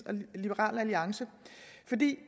og liberal alliance